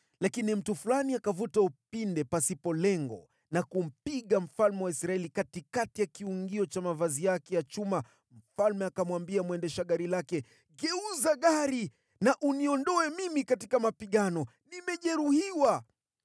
Lakini mtu fulani akavuta upinde pasipo lengo na kumpiga mfalme wa Israeli katikati ya kiungio cha mavazi yake ya chuma, mfalme akamwambia mwendesha gari lake, “Geuza gari na uniondoe mimi katika mapigano, nimejeruhiwa.”